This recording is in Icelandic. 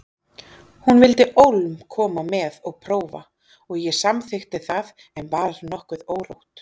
Hún vildi ólm koma með og prófa og ég samþykkti það en var nokkuð órótt.